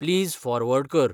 please forward कर